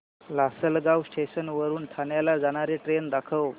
Lasalgaon station वरून ठाण्याला जाणारी ट्रेन दाखव